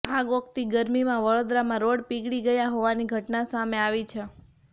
આગ ઓકતી ગરમીમાં વડોદરામાં રોડ પીગળી ગયા હોવાની ઘટના સામે આવી છે